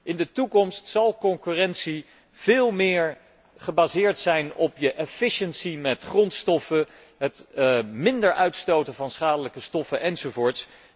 In de toekomst zal concurrentie veel meer gebaseerd zijn op de efficiency van het grondstoffengebruik, het minder uitstoten van schadelijke stoffen enzovoort.